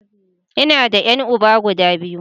Ina da ƴan uba guda biyu.